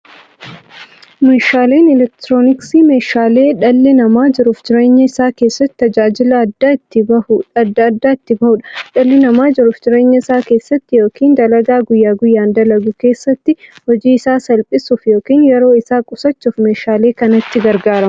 Meeshaaleen elektirooniksii meeshaalee dhalli namaa jiruuf jireenya isaa keessatti, tajaajila adda addaa itti bahuudha. Dhalli namaa jiruuf jireenya isaa keessatti yookiin dalagaa guyyaa guyyaan dalagu keessatti, hojii isaa salphissuuf yookiin yeroo isaa qusachuuf meeshaalee kanatti gargaarama.